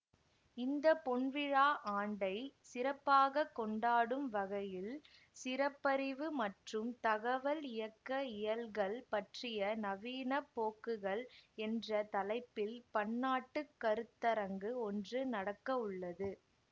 இந்த பொன்விழா ஆண்டை சிறப்பாக கொண்டாடும் வகையில் சிறப்பறிவு மற்றும் தகவல் இயக்க இயல்கள் பற்றிய நவீன போக்குகள் என்ற தலைப்பில் பன்னாட்டு கருத்தரங்கு ஒன்று நடக்கவுள்ளது